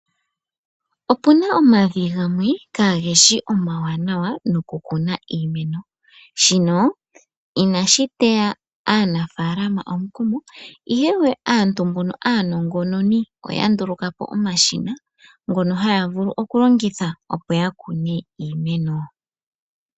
Ope na omavi gamwe ka geshi omawanawa no ku kuna iimeno. Shino inashi teya aanafalama omukumo, ihe aantu mbono aanongononi oya nduluka po omashina ngono haya vulu okulongitha opo ya kune iimeno.